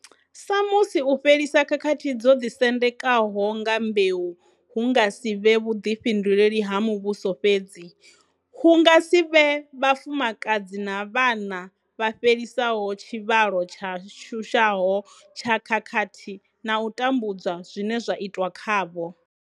Sa musi u fhelisa khakhathi dzo ḓisendekaho nga mbeu hu nga si vhe vhuḓifhinduleli ha muvhuso fhedzi, hu nga si vhe vhafumakadzi na vhana vha fhelisaho tshivhalo tsha shushaho tsha khakhathi na u tambudzwa zwine zwa itwa khavho.